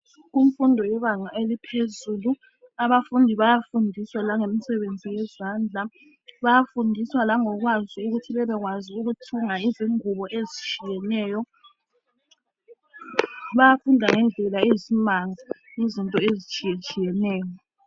Kumfundo yebanga eliphezulu. Abafundi bayafundiswa langemsebenzi eyezandla. Bayafundiswa langokwazi ukuthi bebekwazi ukuthunga ingubo ezitshiyeneyo. Bayafunda ngendlela eyisimanga izinto ezitshiyetshiyeneyo.